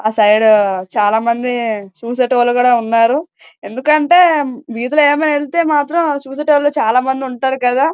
అటు వైపున చూసేవాలు చాల మంది ఉన్నారు. ఎందుకు నాటే వీధిలో వెళ్తే అటు వేపు చూసేవాళ్లు ఉంటారు.